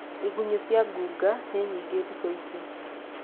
Igunyũ cia ngũnga nĩ nyingĩ thikũ ici.